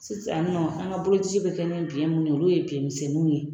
Sisan nɔ an ka boloci bɛ kɛ ne biɲɛ minnu ye olu ye biɲɛ misɛnninw ye